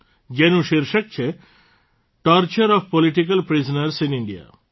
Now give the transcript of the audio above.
જેનું શિર્ષક છે torture of political prisoners in India